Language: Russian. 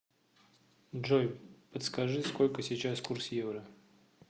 джой подскажи сколько сейчас курс евро